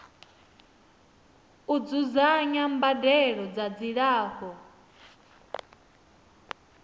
u dzudzanya mbadelo dza dzilafho